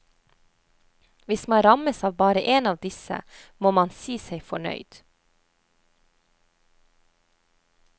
Hvis man rammes av bare en av disse, må man si seg fornøyd.